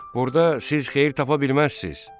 Burda siz xeyir tapa bilməzsiz.